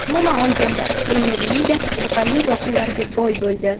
Umuman olganda, Premyer Liga qiziqarli voqealarga boy bo‘ldi.